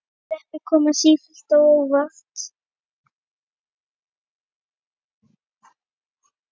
Sveppir koma sífellt á óvart!